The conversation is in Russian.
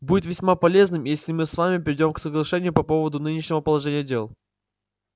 будет весьма полезным если мы с вами придём к соглашению по поводу нынешнего положения дел